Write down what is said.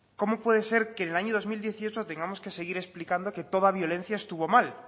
cómo puede ser que en el año dos mil dieciocho tengamos que seguir explicando que toda violencia estuvo mal